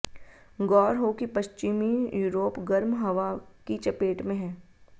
गौर हो कि पश्चिमी यूरोप गर्म हवा की चपेट में है